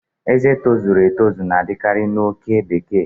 Ezé tojuru etoju na-adịkarị na oke bekee